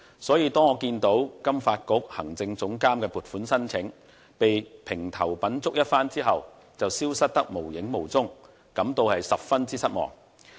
所以，當我看見金發局行政總監的撥款申請被評頭品足一番後，便消失得無影無蹤時，便感到十分失望。